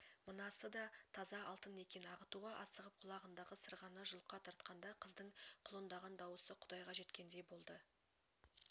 мынасы да таза алтын екен ағытуға асығып құлағындағы сырғаны жұлқа тартқанда қыздың құлындаған дауысы құдайға жеткендей болды